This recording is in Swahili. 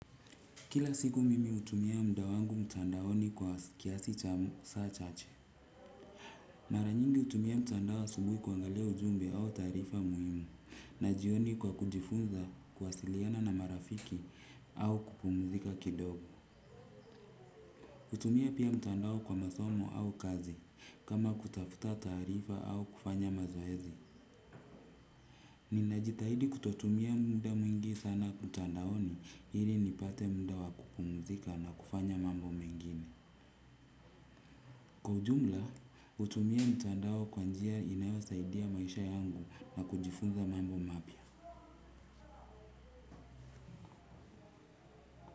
Kila siku mimi hutumia muda wangu mtandaoni kwa kiasi cha saa chache. Mara nyingi hutumia mtandao asubuhi kuangalia ujumbe au taarifa muhimu na jioni kwa kujifunza kuwasiliana na marafiki au kupumzika kidogo. Hutumia pia mtandao kwa masomo au kazi kama kutafuta taarifa au kufanya mazoezi. Ninajitahidi kutotumia muda mwingi sana mtandaoni ili nipate muda wa kupumzika na kufanya mambo mengine. Kwa ujumla, hutumia mtandao kwa njia inayosaidia maisha yangu na kujifunza mambo mapya.